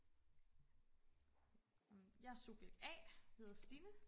nå men jeg er subjekt a hedder Stine